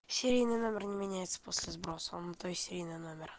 серийный номер не меняется после сброса он то есть серийный номер